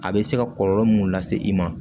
A bɛ se ka kɔlɔlɔ mun lase i ma